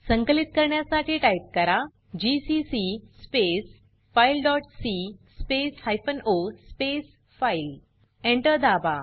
संकलित करण्यासाठी टाइप करा GCC space file dot c space hyphen o space file Enter दाबा